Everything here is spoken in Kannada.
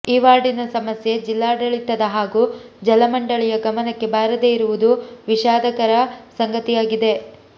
ಈ ವಾರ್ಡಿನ ಸಮಸ್ಯೆ ಜಿಲ್ಲಾಡಳಿತದ ಹಾಗೂ ಜಲ ಮಂಡಳಿಯ ಗಮನಕ್ಕೆ ಬಾರದೆ ಇರುವುದು ವಿಷಾಧಕರ ಸಂಗತಿಯಾಗಿದೆ